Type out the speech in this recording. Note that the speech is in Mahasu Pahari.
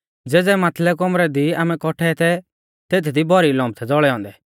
ज़ेज़ै माथलै कौमरै दी आमै कौट्ठै थै तेथदी भौरी लम्प थै ज़ौल़दै लागै औन्दै